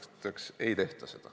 Seda ei tehta.